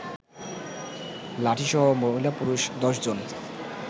লাঠিসহ মহিলা-পুরুষ ১০ জন